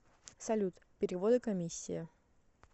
салют переводы комиссия